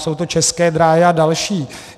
Jsou to České dráhy a další.